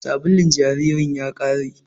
Sabulun jaririn ya ƙare